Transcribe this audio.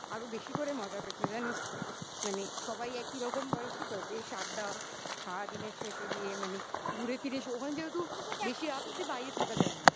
আরো বেশি করে মজা হয়েছে জানিস মানে সবাই একই রকম বয়সে তো বেশ আড্ডা সারাদিনের শেষে গিয়ে মানে ঘুরে ফিরে এসো. ওখানে যেহেতু বেশি রাত অবদি বাইরে থাকা যায় না.